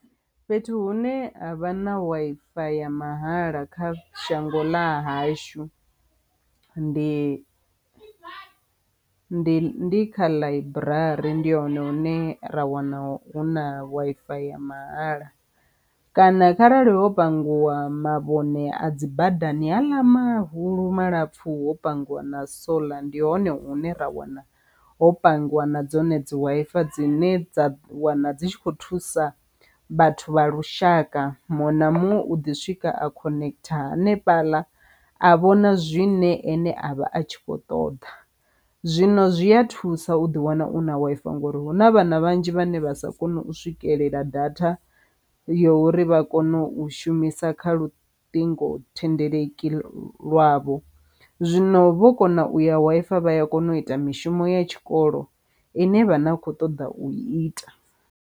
Fhethu hune ha vha na Wi-Fi ya mahala kha shango ḽa hashu ndi ndi ndi kha ḽaiburari ndi hone hune ra wana hu na Wi-Fi ya mahala kana kharali ho pangiwa mavhone a dzi badani haaḽa mahulu malapfu ho pangiwa na solar ndi hone hune ra wana ho pangiwa na dzone dzi Wi-Fi dzine dza wana dzi tshi kho thusa vhathu vha lushaka. Muṅwe na muṅwe u ḓi swika a khonekitha hanefhala a vhona zwine ene a vha a tshi kho ṱoḓa, zwino zwi a thusa u ḓi wana u na Wi-Fi ngori huna vhana vhanzhi vhane vha sa koni u swikelela data ya uri vha kone u shumisa kha luṱingothendeleki lwavho zwino vho kona u ya Wi-Fi vha ya kona u ita mishumo ya tshikolo ine vha na kho ṱoḓa u ita.